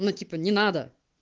ну типа не надо